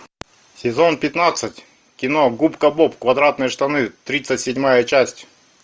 сезон пятнадцать кино губка боб квадратные штаны тридцать седьмая часть